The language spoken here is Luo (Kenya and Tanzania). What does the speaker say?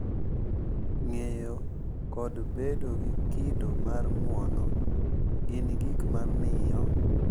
Ng’eyo kod bedo gi kido mar ng’uono gin gino ma miyo